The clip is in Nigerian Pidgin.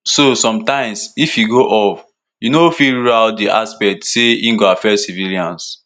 so sometimes if e go off you no fit rule out di aspect say e go affect civilians